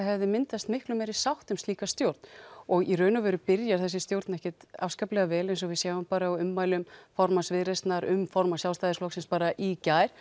hefði myndast miklu meiri sátt um slíka stjórn og í raun og veru byrjar þessi stjórn ekkert afskaplega vel eins og við sjáum bara á ummælum formanns Viðreisnar um formann Sjálfstæðisflokksins bara í gær